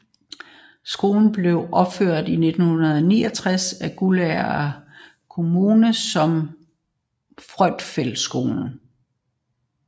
Skolen blev opført i 1969 af Guldager Kommune som Fourfeldtskolen